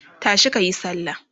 tashi kayi sallah!